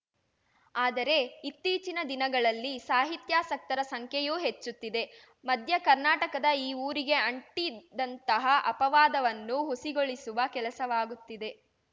ಆದರೆ ಇತ್ತೀಚಿನ ದಿನಗಳಲ್ಲಿ ಸಾಹಿತ್ಯಾಸಕ್ತರ ಸಂಖ್ಯೆಯೂ ಹೆಚ್ಚುತ್ತಿದೆ ಮಧ್ಯ ಕರ್ನಾಟಕದ ಈ ಊರಿಗೆ ಅಂಟಿದ್ದಂತಹ ಅಪವಾದವನ್ನು ಹುಸಿಗೊಳಿಸುವ ಕೆಲಸವಾಗುತ್ತಿದೆ